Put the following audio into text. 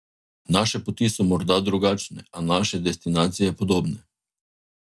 Naše poti so morda drugačne, a naše destinacije podobne.